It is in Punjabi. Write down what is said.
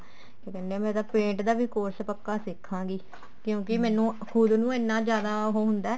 ਕਿਆ ਕਹਿਨੇ ਹਾਂ ਮੈਂ ਤਾਂ paint ਦਾ ਵੀ course ਪੱਕਾ ਸਿਖਾਂ ਗੀ ਕਿਉਂਕਿ ਖੁਦ ਨੂੰ ਇੰਨਾ ਜਿਆਦਾ ਉਹ ਹੁੰਦਾ